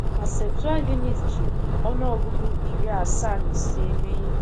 Ma Septụaginti ji ọnụọgụgụ iri asaa na ise mee ihe.